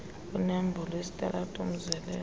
kwinombolo yesitalato umzelelo